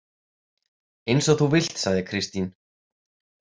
Eins og þú vilt, sagði Kristín.